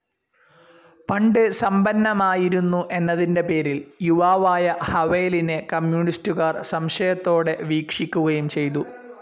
പണ്ട് സമ്പന്നമായിരുന്നു എന്നതിൻ്റെ പേരിൽ യുവാവായ ഹവേലിനെ കമ്മ്യൂണിസ്റ്റുകാർ സംശയത്തോടെ വീക്ഷിക്കുകയും ചെയ്തു.